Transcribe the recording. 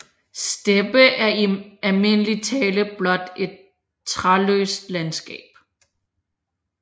Steppe er i almindelig tale blot et træløst landskab